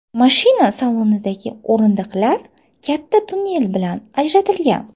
Mashina salonidagi o‘rindiqlar katta tunnel bilan ajratilgan.